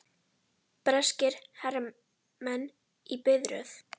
Breskir hermenn í biðröð.